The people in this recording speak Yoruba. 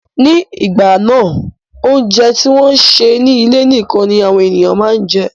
Ní ìgbà náà, óúnjẹ tí wọ́n sè ní ilé nikan ni àwọn ènìyàn máa ń jẹ